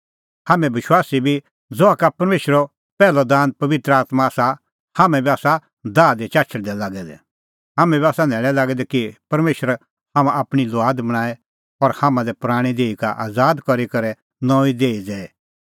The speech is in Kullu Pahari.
हाम्हैं विश्वासी बी ज़हा का परमेशरो पैहलअ दान पबित्र आत्मां आसा हाम्हैं बी आसा दाह दी चाछल़दै लागै दै हाम्हैं बी आसा न्हैल़ै लागै दै कि परमेशर हाम्हां आपणीं लुआद बणांए और हाम्हां लै पराणीं देही का आज़ाद करी करै नऊंईं देही दैए